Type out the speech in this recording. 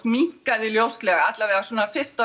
minnkaði ljóslega svona fyrst